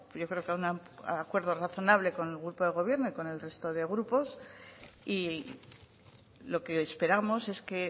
yo creo que a un acuerdo razonable con el grupo del gobierno y con el resto de grupos y lo que esperamos es que